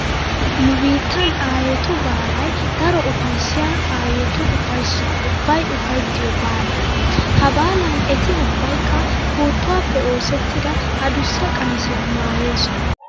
Nu biittan aayetu baalay daro ufayssiya aayotu ufayssaa ubbay ufayttiyo baala. Ha baalan eti ubbaykka puuttuwappe oosettida adussa qamisiya maayoosona.